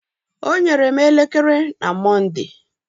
O nyere m elekere na Monde.